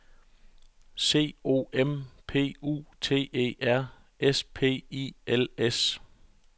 C O M P U T E R S P I L S